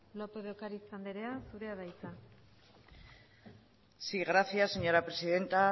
lópez de ocariz andrea zurea da hitza sí gracias señora presidenta